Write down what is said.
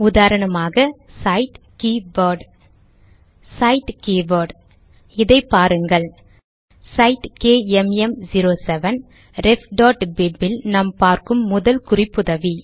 உதாரணமாக cite K word cite keyword இதை பாருங்கள் சைட் கேஎம்எம்07 refபிப் இல் நாம் பார்க்கும் முதல் குறிப்புதவி